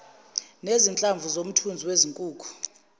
nezinhlamvu zomthunzi wezinkukhu